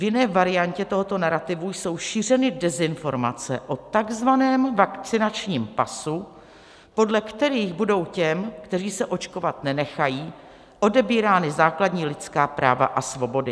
V jiné variantě tohoto narativu jsou šířeny dezinformace o takzvaném vakcinačním pasu, podle kterých budou těm, kteří se očkovat nenechají, odebírána základní lidská práva a svobody."